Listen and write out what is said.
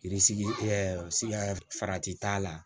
farati t'a la